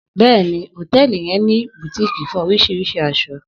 Bẹ́ẹ̀ni, òtẹlí yẹn ni bùtíìkì fún orísirísi aṣọ.